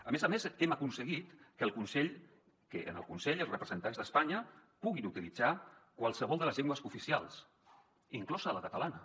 a més a més hem aconseguit que en el consell els representants d’espanya puguin utilitzar qualsevol de les llengües cooficials inclosa la catalana